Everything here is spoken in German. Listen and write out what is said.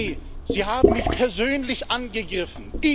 Herr Salvini, Sie haben mich persönlich angegriffen.